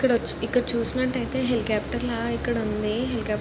ఇక్కడ వచ్చి ఇక్కడ చూసినట్టైతే హెలికాఫ్టర్ లా ఇక్కడుంది. హెలికాఫ్టర్ --